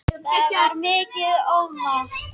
Það var mikið ofmat